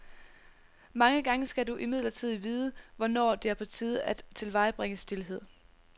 Mange gange skal du imidlertid vide, hvornår det er på tide at tilvejebringe stilhed.